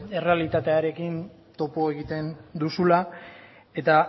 errealitatearekin topo egiten duzula eta